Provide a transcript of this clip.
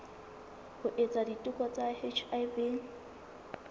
ho etsa diteko tsa hiv